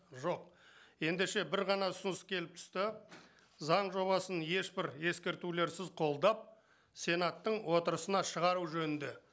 жоқ ендеше бір ғана ұсыныс келіп түсті заң жобасын ешбір ескертулерсіз қолдап сенаттың отырысына шығару жөнінде